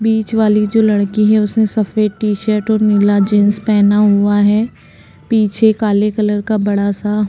बीच वाली जो लड़की है उसने सफ़ेद टी-शर्ट और नीला जीन्स पहना हुआ है पीछे काले कलर का बडा सा --